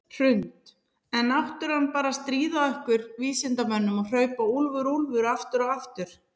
Hrund: Er náttúran bara að stríða ykkur vísindamönnunum og hrópa úlfur, úlfur aftur og aftur?